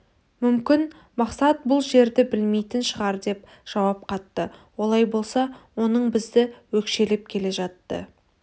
мүмкін мақсат бұл жерді білмейтін шығар деп жауап қатты олай болса оның бізді өкшелеп келе жатты